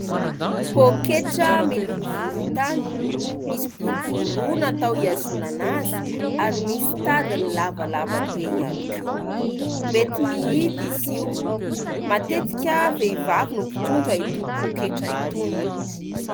Poketra miloko volontany ; misy boribory roa natao hiazonana azy, ary misy tadiny lavalavabe ihany koa. Mety mihidy izy io. Matetika vehivavy no mpitondra itony poketra itony.